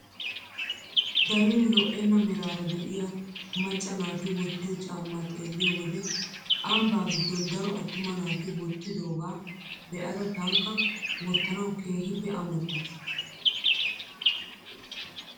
Darin lo"enna meraara de'iyaa macca naati wottiyoo caammaa xeelliyoo wode ambbaa giddon daro aattuma naati wottidoogaa be'ada tankka wottanawu keehippe amottaas!